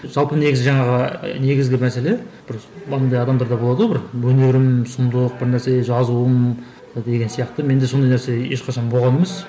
жалпы негізі жаңағы негізгі мәселе бір мынандай адамдарда болады ғой бір өнерім сұмдық бір нәрсе жазуым деген сияқты менде сондай нәрсе ешқашан болған емес